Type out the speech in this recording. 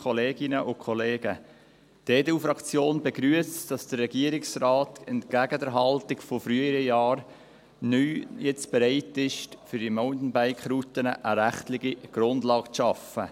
Die EDU-Fraktion begrüsst es, dass der Regierungsrat, entgegen der Haltung früherer Jahre, neu nun bereit ist, für die Mountainbike-Routen eine rechtliche Grundlage zu schaffen.